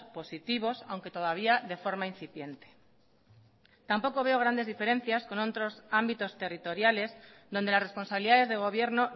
positivos aunque todavía de forma incipiente tampoco veo grandes diferencias con otros ámbitos territoriales donde las responsabilidades de gobierno